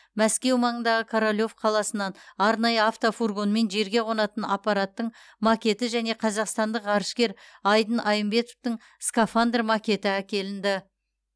мәскеу маңындағы королев қаласынан арнайы автофургонмен жерге қонатын аппараттың макеті және қазақстандық ғарышкер айдын айымбетовтің скафандр макеті әкелінді